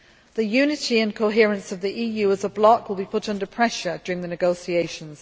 The unity and coherence of the EU as a block will be put under pressure during the negotiations.